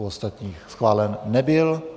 U ostatních schválen nebyl.